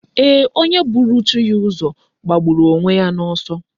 Eeh, onye buru chi ya uzo, gbagburu onye ya na oso